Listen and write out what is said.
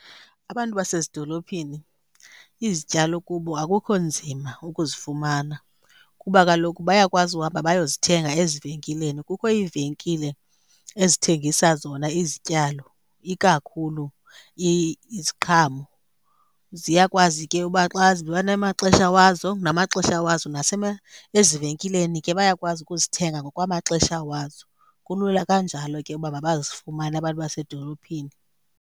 Abantu basezidolophini izityalo kubo akukho nzima ukuzifumana kuba kaloku bayakwazi uhamba bayozithenga ezivenkileni. Kukho iivenkile ezithengisa zona izityalo ikakhulu iziqhamo. Ziyakwazi ke uba xa ziba namaxesha wazo, namaxesha wazo ezivenkileni ke bayakwazi ukuzithenga ngokwamaxesha wazo. Kulula kanjalo ke uba mabazifumane abantu basedolophini.